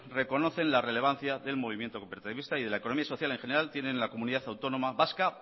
reconocen la relevancia del movimiento cooperativista y la economía social en general tiene en la comunidad autónoma vasca